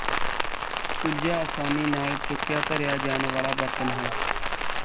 ਕੁੱਜਾ ਆਸਾਨੀ ਨਾਲ ਚੁਕਿਆਧਰਿਆ ਜਾਣ ਵਾਲਾ ਬਰਤਨ ਹੈ